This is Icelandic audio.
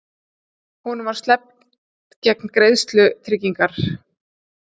Honum var sleppt gegn greiðslu tryggingar